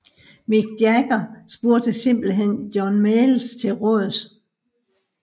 Mick Jagger spurgte simpelthen John Mayall til råds